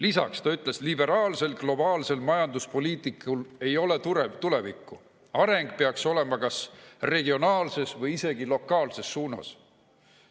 Lisaks ta ütles: liberaalsel globaalsel majanduspoliitikal ei ole tulevikku, areng peaks olema kas regionaalses või isegi lokaalses suunas.